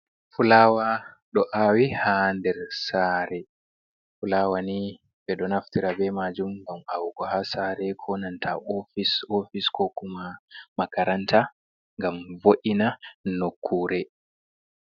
Fulawa do awi hander sare, fulawa ni ɓedo naftira be majum ngam awugo ha sare konanta ofis ko kuma makaranta gam vo’ina nokure.